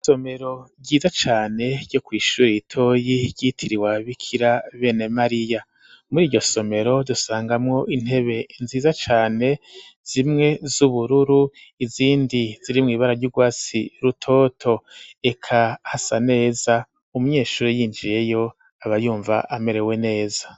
Isomero ryiza cane ryo kw'ishuri itoyi ryitiriwa bikira bene mariya muri iryo somero dusangamwo intebe nziza cane zimwe z'ubururu izindi ziri mu ibara ry'ugwasi rutoto eka hasa neza umunyeshuri yinjiyeyo abayumva amerewe neza.